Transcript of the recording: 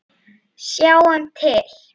Sjáum til!